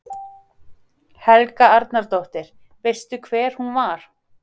Helga Arnardóttir: Veistu hver hún var?